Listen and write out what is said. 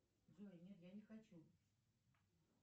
джой нет я не хочу